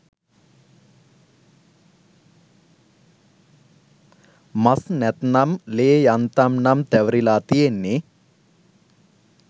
මස් නැත්නම් ලේ යන්තම් නම් තැවරිලා තියෙන්නෙ